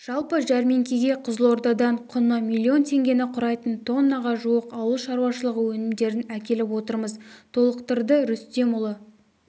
жалпы жәрмеңкеге қызылордадан құны миллион теңгені құрайтын тоннаға жуық ауыл шаруашылығы өнімдерін әкеліп отырмыз толықтырды рүстемұлы